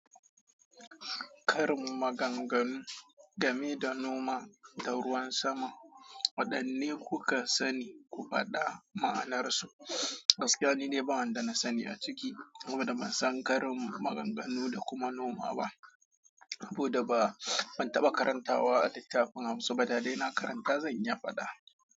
Karin maganganu game da noma da ruwan sama, waɗanne kuka sani? Ku faɗa ma'anarsu. Gaskiya ni dai ba wanda na sani a ciki saboda ban san karin maganganu da kuma noma ba. Saboda ba, ban taɓa karantawa a littafin Hausa ba dadai na karanta zan iya faɗa.